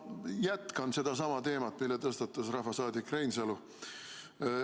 Ma jätkan sedasama teemat, mille tõstatas rahvasaadik Reinsalu.